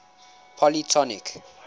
polytonic